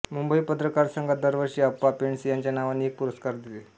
मुंबई पत्रकार संघ दरवर्षी अप्पा पेंडसे यांच्या नावाने एक पुरस्कार देते